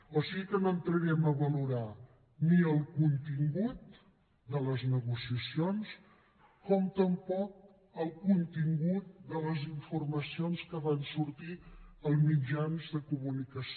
o sigui que no entrarem a valorar ni el contingut de les negociacions com tampoc el contingut de les informacions que van sortir als mitjans de comunicació